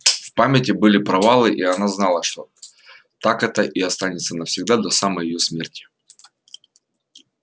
в памяти были провалы и она знала что так это и останется навсегда до самой её смерти